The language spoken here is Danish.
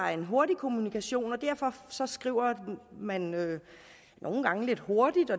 er en hurtig kommunikation og derfor skriver man nogle gange lidt hurtigt